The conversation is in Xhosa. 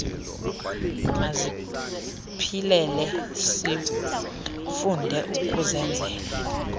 masiziphilele sifunde ukuzenzela